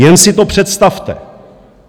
Jen si to představte.